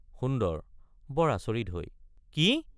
সুন্দৰ—বৰ আচৰিত হৈ কি!